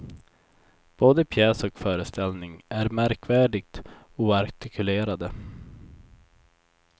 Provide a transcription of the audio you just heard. Både pjäs och föreställning är märkvärdigt oartikulerade.